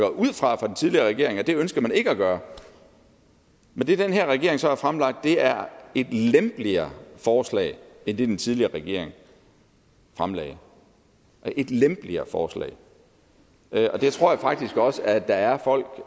for den tidligere regering at det ønskede man ikke at gøre men det den her regering så har fremlagt er et lempeligere forslag end det den tidligere regering fremlagde et lempeligere forslag og det tror jeg faktisk også der er folk